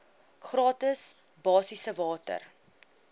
gratis basiese water